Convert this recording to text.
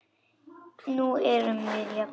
Nú erum við jafnir.